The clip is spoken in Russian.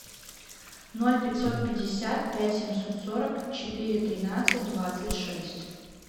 ноль пятьсот пятьдесят пять семьсот сорок четыре тринадцать двадцать шесть